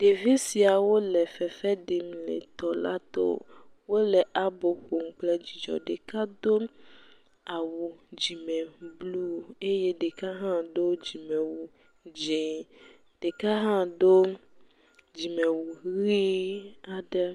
Ɖevi siawo le fef ɖim le tɔ la to wole abo ƒom kple dzidzɔ, ɖeka do awu dzime blu eye ɖeka hã do dzime wu dzɛ eye ɖeka hã do dzime wu hee aɖe.